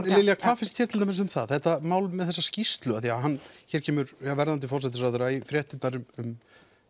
Lilja hvað finnst þér til dæmis um það þetta mál með þessa skýrslu hér kemur verðandi forsætisráðherra í fréttirnar um